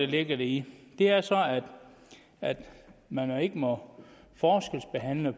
ligger i det er så at man ikke må forskelsbehandle